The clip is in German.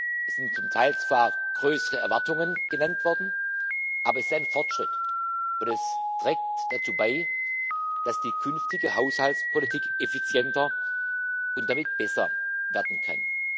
Es sind zum Teil zwar größere Erwartungen genannt worden, aber es ist ein Fortschritt, und es trägt dazu bei, dass die künftige Haushaltspolitik effizienter und damit besser werden kann.